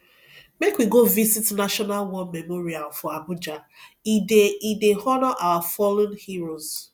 make we go visit national war memorial for abuja e dey e dey honour our fallen heroes